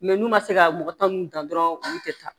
n'u ma se ka mɔgɔ tanu dɔrɔn olu tɛ taa